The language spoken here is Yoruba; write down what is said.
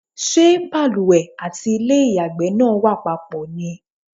Ṣé balùwẹ̀ àti ilé ìyàgbẹ́ náà wà papọ̀ ni?